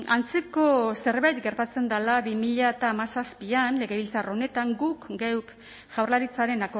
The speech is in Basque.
antzeko zerbait gertatzen dela bi mila hamazazpian legebiltzar honetan guk geuk jaurlaritzaren